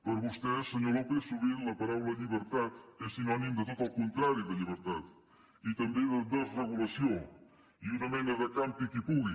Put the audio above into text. per vostè senyor ló pez sovint la paraula llibertat és sinònim de tot el contrari de llibertat i també desregulació una mena de campi qui pugui